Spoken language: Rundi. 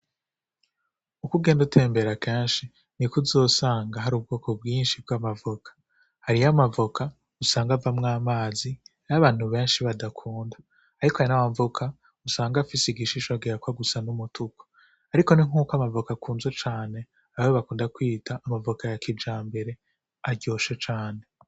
Ukugenda utembera kanshi ni kuzosanga hari ubwoko bwinshi bw'amavoka hariyo amavoka usanga avamwo amazi ayo abantu benshi badakunda, ariko ayana wamvuka usanga afise igishishogera ko a gusa n'umutuku, ariko ni nk'uko amavoka akunze cane ababe bakunda kwita amavoka ya kija mbere aryoshe cane.